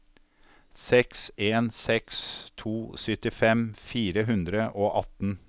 seks en seks to syttifem fire hundre og atten